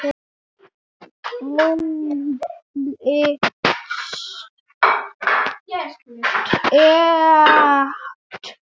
Óli Stef.